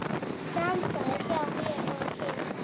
Samstarf hjá mér og Kidda?